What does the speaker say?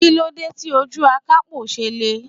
Kí ló dé tí ojú akapo ṣe le?